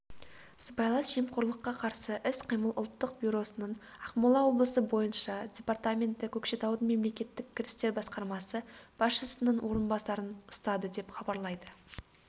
сыбайлас жемқорлыққа қарсы іс-қимыл ұлттық бюросының ақмола облысы бойынша департаменті көкшетаудың мемлекеттік кірістер басқармасы басшысының орынбасарын ұстады деп хабарлайды